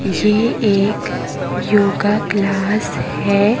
किसी एक yoga class हैं।